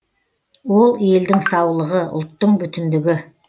ол елдің саулығы ұлттың бүтіндігі